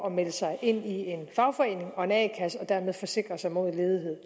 at melde sig ind i en fagforening og en a kasse og dermed forsikre sig mod